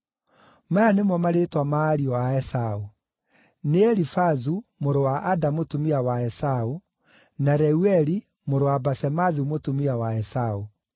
Maya nĩmo marĩĩtwa ma ariũ a Esaũ: nĩ Elifazu, mũrũ wa Ada mũtumia wa Esaũ, na Reueli, mũrũ wa Basemathu mũtumia wa Esaũ.